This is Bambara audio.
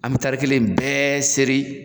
An be taari kelen in bɛɛ seri.